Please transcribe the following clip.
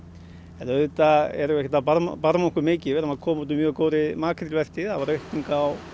en auðvitað erum við ekki að barma okkur mikið við erum að koma út úr mjög góðri makrílvertíð það var aukning á